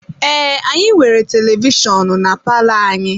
Ee, anyị nwere televishọnụ na palọ anyị.